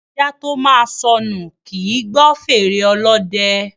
Ajá tó máa sọnù, kì í gbọ́ fèrè ọlọ́dẹ.